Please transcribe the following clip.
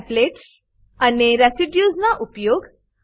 templates અને residues ના ઉપયોગ